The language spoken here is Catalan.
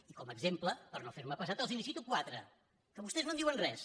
i com a exemple per no fer me pesat els en cito quatre que vostès no en diuen res